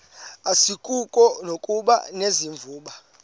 asikuko nokuba unevumba